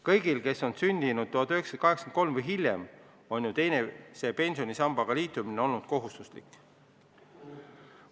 Kõigil, kes on sündinud 1983 või hiljem, on teise pensionisambaga liitumine olnud kohustuslik.